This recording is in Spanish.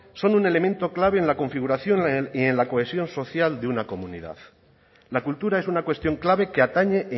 son un elemento clave en la configuración y en la cohesión social de una comunidad la cultura es una cuestión clave que atañe